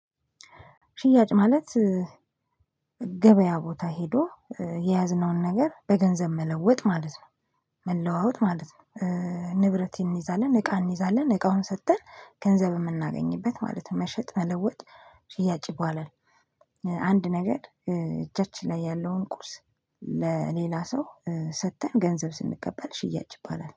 ሽያጭ ማለት ገበያ ቦታ ሄዶ የያዝነውን ነገር በገንዘብ መለወጥ ማለት ነው። መለዋወጥ ማለት ነው። ንብረት እንይዛለን እቃ እንይዛለን እቃውን ሰጥተን ገንዘብ የምናገኝበት ማለት ነው። መሸጥ መለወጥ ሽያጭ ይባላል። አንድ ነገር እጃችን ላይ ያለውን ቁስ ለሌላ ሰው ሰጥተን ገንዘብ ስንቀበል ሽያጭ ይባላል።